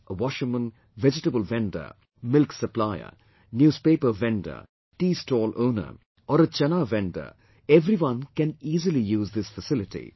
A washerman, vegetable vendor, milk supplier, newspaper vendor, tea stall owner or a chanaa vendor, everyone can easily use this facility